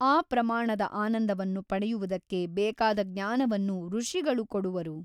ಆ ಪ್ರಮಾಣದ ಆನಂದವನ್ನು ಪಡೆಯುವುದಕ್ಕೆ ಬೇಕಾದ ಜ್ಞಾನವನ್ನು ಋಷಿಗಳು ಕೊಡುವರು.